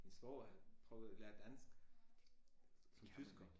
Min svoger prøvede lære dansk som tysker